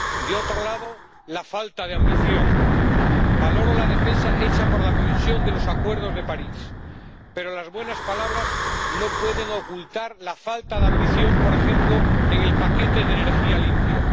De otro lado, la falta de ambición. Valoro la defensa hecha por la Comisión de los Acuerdos de París, pero las buenas palabras no pueden ocultar la falta de ambición, por ejemplo, en el paquete de energía limpia.